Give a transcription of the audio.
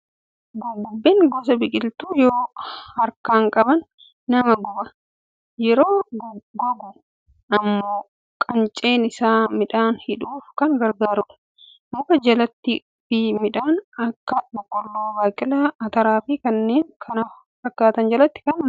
Gurgubbeen gosa biqiltuu yoo harkaan qaban nama guba. Yeroo gogu immoo qunceen isaa midhaan hidhuuf kan gargaarudha. Muka jalattii fi midhaan akka boqqolloo, baaqelaa, ataraa fi kanneen kana fakkaatan jalatti marga.